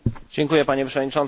Panie Przewodniczący!